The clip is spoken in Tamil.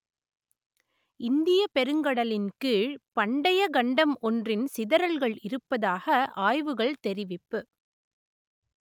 இந்தியப் பெருங்கடலின் கீழ் பண்டைய கண்டம் ஒன்றின் சிதறல்கள் இருப்பதாக ஆய்வுகள் தெரிவிப்பு